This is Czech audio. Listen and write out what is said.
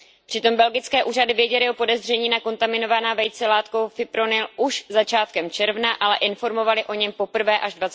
Přitom belgické úřady věděly o podezření na kontaminovaná vejce látkou fipronil už začátkem června, ale informovaly o něm poprvé až